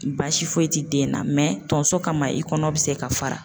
Baasi foyi tɛ den na tonso kama i kɔnɔ bi se ka fara.